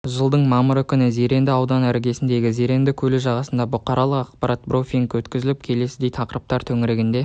жылдың мамыры күні зеренді ауданының іргесіндегі зеренді көлі жағасында бұқаралық ақпарат брифинг өткізіліп келесідей тақырыптар төңірегінде